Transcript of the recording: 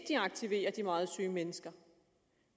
aktiverer de meget syge mennesker